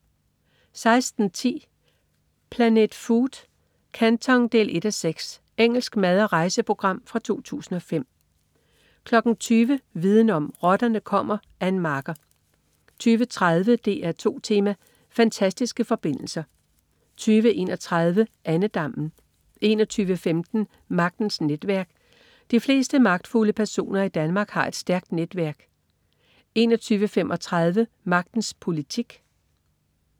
16.10 Planet Food: Canton 1:6 Engelsk mad/rejseprogram fra 2005 20.00 Viden om: Rotterne kommer. Ann Marker 20.30 DR2 Tema: Fantastiske forbindelser 20.31 Andedammen 21.15 Magtens netværk. De fleste magtfulde personer i Danmark har et stærkt netværk 21.35 Magtens politik